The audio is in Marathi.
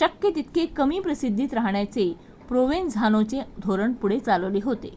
शक्य तितके कमी प्रसिद्धीत राहण्याचे प्रोवेनझानोचे धोरण पुढे चालवले होते